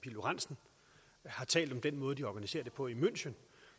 lorentzen har talt om den måde de organiserer det på i münchen